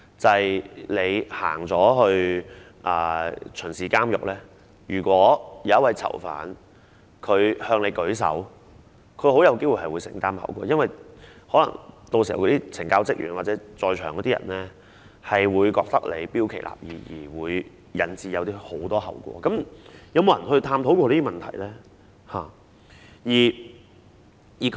即是當你巡視監獄時，如果有一個囚犯向你舉手，他很有機會要承擔後果，因為可能懲教人員或在場人士會覺得你標奇立異，而引致很多後果，是否有人探討過這些問題呢？